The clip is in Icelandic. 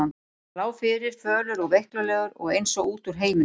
Hann lá fyrir, fölur og veiklulegur og eins og út úr heiminum.